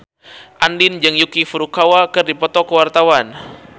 Andien jeung Yuki Furukawa keur dipoto ku wartawan